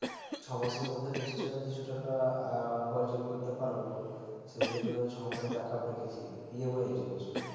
ছয় মাসের মধ্যে নিশ্চয় আমি কিছু টাকা আমি উপার্জন করতে পারবো সেই জন্য আমি ছয় মাসের backup রেখেছি EMI জন্য শুধু